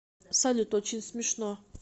салют очень смешно